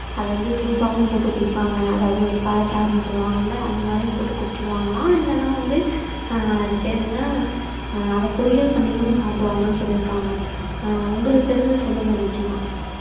அத வந்து ஜூஸாவும் போட்டு குடிப்பாங்க. அதாவது வந்து பழச்சாறுன்னு சொல்லுவாங்கல்ல அந்த மாதிரியும் போட்டு குடிச்சிருவாங்கலாம் இல்லைன்னா வந்து ஆஹ் அது பேரு என்ன ஆஹ் அத பொரியல் பண்ணியும் சாப்பிடுவாங்கன்னு சொல்லியிருக்காங்க. ஆஹ் உங்களுக்கு தெரிஞ்சத சொல்லுங்க தீக்ச்சனா